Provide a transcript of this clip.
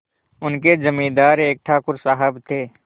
उनके जमींदार एक ठाकुर साहब थे